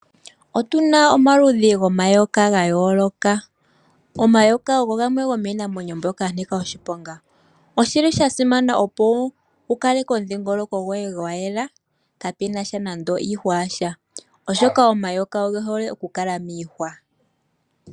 Otuna omaludhi gomayoka ga yooloka. Omayoka ogo gamwe gomiinamwenyo mbyoka ya nika oshiponga. Oshili shasimana opo wu kaleke omudhingoloko goye gwa yela pwaana nando iihwa yasha ,oshoka omayoka ogehole okukala miihwa.